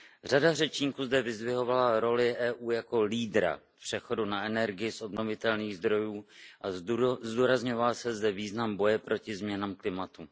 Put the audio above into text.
Řada řečníků zde vyzdvihovala roli EU jako lídra přechodu na energii z obnovitelných zdrojů a zdůrazňoval se zde význam boje proti změnám klimatu.